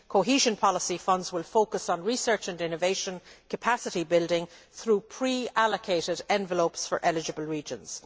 Cohesion policy funds will focus on research and innovation capacity building through pre allocated envelopes for eligible regions.